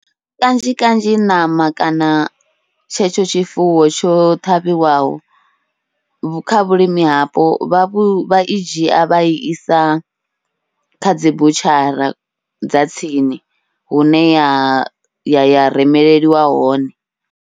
Kanzhi kanzhi ṋama kana tshetsho tshifuwo tsho ṱhavhiwaho kha vhulimi hapo vha i dzhia vha i isa kha dzi butshara dza tsini, hune ya ya remeleliwa hone.